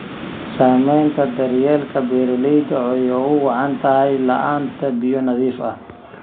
Saamaynta daryeelka beeralayda oo ay ugu wacan tahay la'aanta biyo nadiif ah.